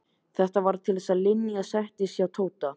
Þetta varð til þess að Linja settist að hjá Tóta.